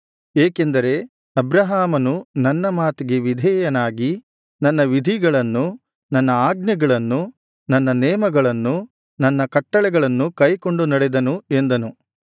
ಏಕೆಂದರೆ ಅಬ್ರಹಾಮನು ನನ್ನ ಮಾತಿಗೆ ವಿಧೇಯನಾಗಿ ನನ್ನ ವಿಧಿಗಳನ್ನು ನನ್ನ ಆಜ್ಞೆಗಳನ್ನು ನನ್ನ ನೇಮಗಳನ್ನು ನನ್ನ ಕಟ್ಟಳೆಗಳನ್ನು ಕೈಗೊಂಡು ನಡೆದನು ಎಂದನು